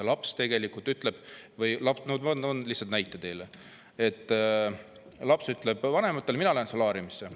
Laps ütleb – ma toon lihtsalt näite – vanemale, et ta läheb solaariumisse.